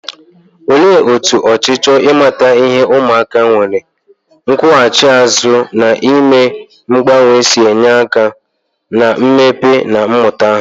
Olee otú ọchịchọ ịmata ihe ụmụaka nwere, nkwụghachi azụ, na ime mgbanwe si enye aka na mmepe na mmụta ha?